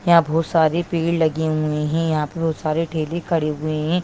यहाँ बहुत सारी भीड़ लगी हुई है यहाँ बहुत सारे ठेले खड़े हुए है।